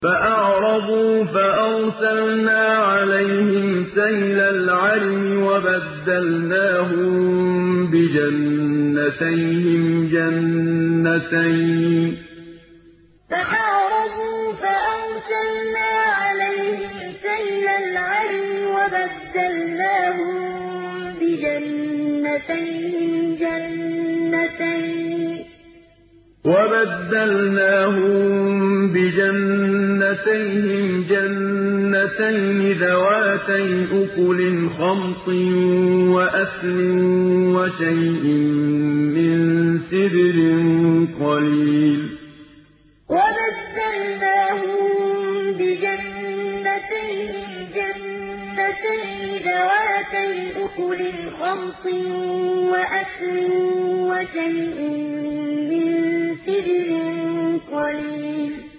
فَأَعْرَضُوا فَأَرْسَلْنَا عَلَيْهِمْ سَيْلَ الْعَرِمِ وَبَدَّلْنَاهُم بِجَنَّتَيْهِمْ جَنَّتَيْنِ ذَوَاتَيْ أُكُلٍ خَمْطٍ وَأَثْلٍ وَشَيْءٍ مِّن سِدْرٍ قَلِيلٍ فَأَعْرَضُوا فَأَرْسَلْنَا عَلَيْهِمْ سَيْلَ الْعَرِمِ وَبَدَّلْنَاهُم بِجَنَّتَيْهِمْ جَنَّتَيْنِ ذَوَاتَيْ أُكُلٍ خَمْطٍ وَأَثْلٍ وَشَيْءٍ مِّن سِدْرٍ قَلِيلٍ